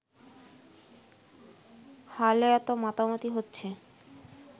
হালে এতো মাতামাতি হচ্ছে